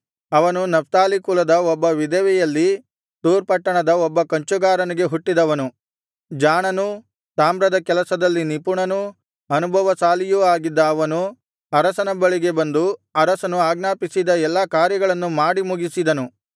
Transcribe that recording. ಅವನು ನಫ್ತಾಲಿ ಕುಲದ ಒಬ್ಬ ವಿಧವೆಯಲ್ಲಿ ತೂರ್ ಪಟ್ಟಣದ ಒಬ್ಬ ಕಂಚುಗಾರನಿಗೆ ಹುಟ್ಟಿದವನು ಜಾಣನೂ ತಾಮ್ರದ ಕೆಲಸದಲ್ಲಿ ನಿಪುಣನೂ ಅನುಭವಶಾಲಿಯೂ ಆಗಿದ್ದ ಅವನು ಅರಸನ ಬಳಿಗೆ ಬಂದು ಅರಸನು ಆಜ್ಞಾಪಿಸಿದ ಎಲ್ಲಾ ಕಾರ್ಯಗಳನ್ನು ಮಾಡಿ ಮುಗಿಸಿದನು